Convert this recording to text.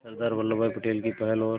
सरदार Vallabhbhai Patel की पहल और